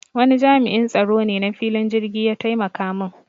Wani jami'in tsaro ne na filin jirki ya taimaka mun